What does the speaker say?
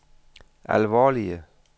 alvorlige